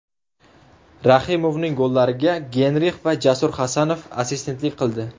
Rahimovning gollariga Geynrix va Jasur Hasanov assistentlik qildi.